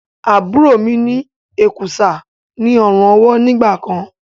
Àbúrò mi ní èkùsá ní ọrùn ọwó nígbàkan.